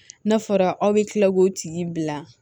N'a fɔra aw be kila k'o tigi bila